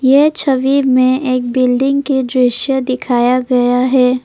ये छवि में एक बिल्डिंग के दृश्य दिखाया गया है।